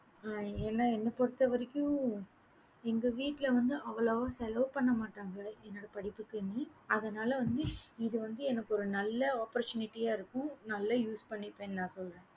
என்ன புருத்தவரைக்கும் எங்க வீடுல வந்து அவ்வோளாவா செலவு பண்ணமாட்டாங்க அதுனால வந்து இது வந்து எனக்கு நல்ல opportunity இருக்கும் நல்ல use பண்ணிப்பேன் நானு